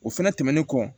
O fɛnɛ tɛmɛnen kɔ